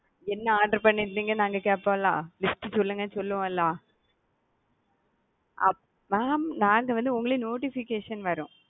என்ன order பண்ணிருந்தீங்கனு நாங்க கேப்போம்ல list சொல்லுங்க சொல்லுவோம்ல mam நாங்க வந்து உங்கள notification வரும்.